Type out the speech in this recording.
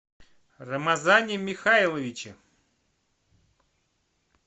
рамазане михайловиче